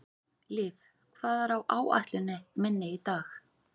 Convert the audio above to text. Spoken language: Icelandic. Liv, hvað er á áætluninni minni í dag?